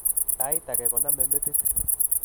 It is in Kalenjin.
Sait age koname metit